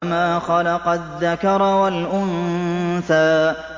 وَمَا خَلَقَ الذَّكَرَ وَالْأُنثَىٰ